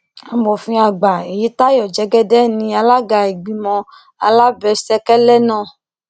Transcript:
amòfin àgbà èyítayọ jẹgẹdẹ ní alága ìgbìmọ alábẹsẹkẹlẹ náà